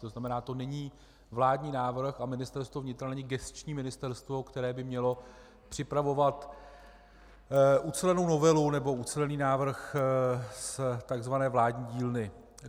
To znamená, to není vládní návrh a Ministerstvo vnitra není gesční ministerstvo, které by mělo připravovat ucelenou novelu nebo ucelený návrh z tzv. vládní dílny.